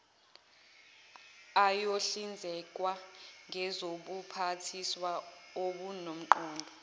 ayohlinzekwa ngezobuphathiswa obunomqondo